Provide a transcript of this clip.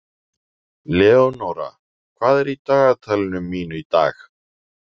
Leonóra, hvað er í dagatalinu mínu í dag?